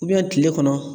kile kɔnɔ